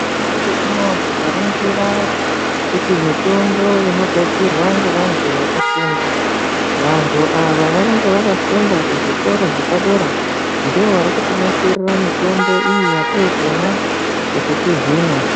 Nyamashi unouyu tikaringira kuti mitombo lnogadzirwa ngevantu vakafunda. Vantu ava vanenge vakafunda kuzvikora zvepadera ndivo vari kutinasirira mitombo iyi yatirikumwa kuti tihinwe.